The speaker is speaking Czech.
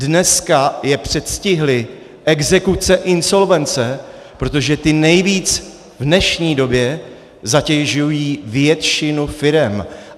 Dneska je předstihly exekuce, insolvence, protože ty nejvíc v dnešní době zatěžují většinu firem.